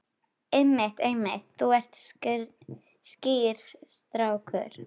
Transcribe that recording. Einmitt, einmitt, þú ert skýr strákur.